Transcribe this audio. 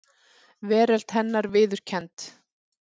Veröld hennar viðurkennd.